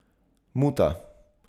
Muta.